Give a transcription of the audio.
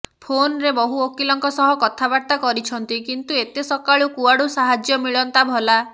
ଫୋନ୍ରେ ବହୁ ଓକିଲଙ୍କ ସହ କଥାବାର୍ତ୍ତା କରିଛନ୍ତି କିନ୍ତୁ ଏତେ ସକାଳୁ କୁଆଡୁ ସାହାଯ୍ୟ ମିଳନ୍ତା ଭଲା